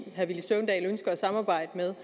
herre villy søvndal ønsker at samarbejde med